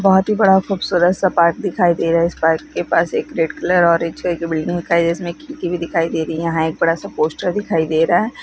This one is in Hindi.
बहुत ही बड़ा खूबसूरत सा पार्क दिखाई दे रहा है इस पार्क के पास से एक रेड कलर और और एक छह का बिल्डिंग दिखाई दे रही है इसमें खिड़की भी दिखाई दे रही है यहां एक बड़ा सा पोस्टर दिखाई दे रहा।